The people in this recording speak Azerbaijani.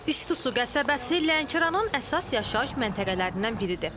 İstisu qəsəbəsi Lənkəranın əsas yaşayış məntəqələrindən biridir.